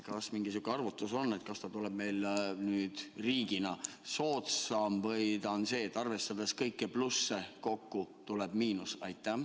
Kas mingisugune selline arvutus on, kas see tuleb meil nüüd riigina soodsam või on nii, et kõiki plusse kokku arvestades tuleb miinus?